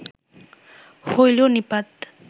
হইল নিপাত